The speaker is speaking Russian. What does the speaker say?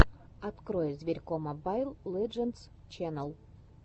открой зверько мобайл лэджендс ченнал